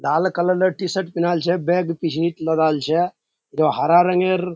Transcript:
लाल colour के T-shirt पिन्हल छै बैग पीछे लगल छै हरा रंग --